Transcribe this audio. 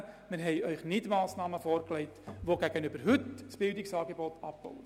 Wir haben Ihnen keine Massnahmen vorgelegt, die gegenüber heute das Bildungsangebot abbauen.